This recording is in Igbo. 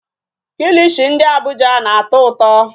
Kilishi ndị Abuja na-atọ ụtọ.